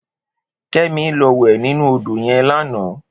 Kemi lò wè ninú ódó yèn làná